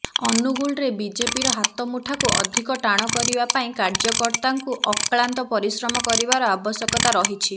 ଅନୁଗୁଳରେ ବିଜେପିର ହାତମୁଠାକୁ ଅଧିକ ଟାଣ କରିବା ପାଇଁ କାର୍ଯ୍ୟକର୍ତାଙ୍କୁ ଅକ୍ଳାନ୍ତ ପରିଶ୍ରମ କରିବାର ଆବଶ୍ୟକତା ରହିଛି